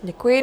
Děkuji.